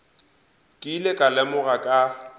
ke ile ka lemoga ka